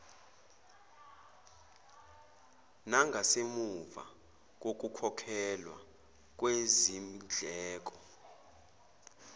nangasemuva kokukhokhelwa kwezindleko